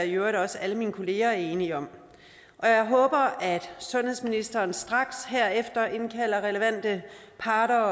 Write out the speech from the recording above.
i øvrigt også alle mine kolleger er enige om og jeg håber at sundhedsministeren straks herefter indkalder relevante parter